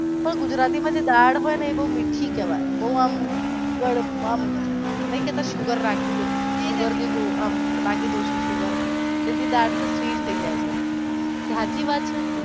ગુજરાતી માં જે દાળ હોઈ એ બોવ મીઠી કેવાઈ બોવ આમ નઈ કેતા sugar રાખી દે sugar નાખી દેશે એનાથી બોવ sweet થઈ જય એટલે એ વાત સાચી છે?